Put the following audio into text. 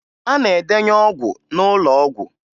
A na-edenye ọgwụ n'ụlọ ọgwụ